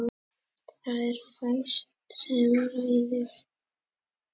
Það er fæst sem ræður.